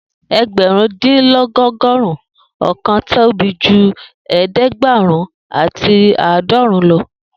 Egbarun-din-dinlọgọrun ọkan tobi ju ẹdẹgbẹrun ati aadọrun lọ